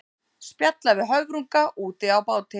Spjalla við höfrunga úti á báti.